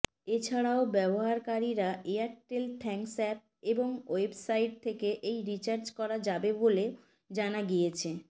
এছাড়াও ব্যবহারকারীরা Airtel thanks app এবং ওয়েবসাইট থেকে এই রিচার্জ করা যাবে বলেও জানা গিয়েছে